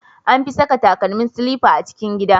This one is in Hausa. An fi saka takalmi silifa a cikin gida.